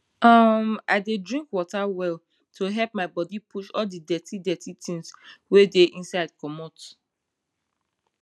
ummm i dey drink water well to help my bodi push all the dirty dirty tins wey dey inside comot